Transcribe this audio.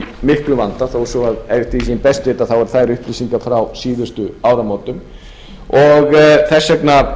miklum vanda þó svo að eftir því sem ég best veit séu þær upplýsingar frá síðustu áramótum og þess vegna